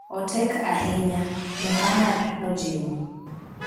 otek ahinya,” Muhamad nojiwo.